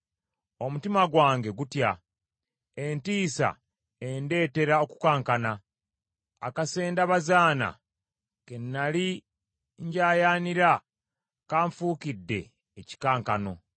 Omutima gwange gutya, Entiisa endetera okukankana; Akasendabazaana ke nnali njayaanira, kanfukidde ekikankano.